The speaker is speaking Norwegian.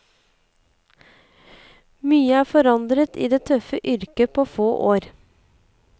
Mye er forandret i det tøffe yrket på få år.